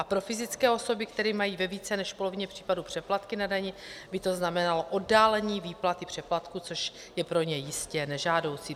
A pro fyzické osoby, které mají ve více než polovině případů přeplatky na dani, by to znamenalo oddálení výplaty přeplatku, což je pro ně jistě nežádoucí.